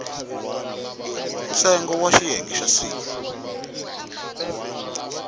ntsengo wa xiyenge xa c